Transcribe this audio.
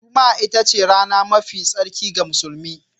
Juma'a ita ce rana mafi tsarki ga musulmi